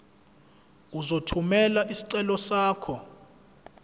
uzothumela isicelo sakho